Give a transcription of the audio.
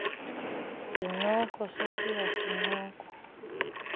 zincoko sesiya sincoko